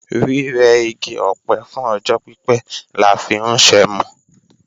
Rírẹ igi ọ̀pẹ fún ọjọ́ pípé la fi ń ṣẹmu